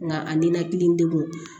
Nka a ninakili degun